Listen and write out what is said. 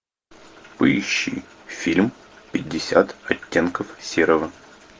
поищи фильм пятьдесят оттенков серого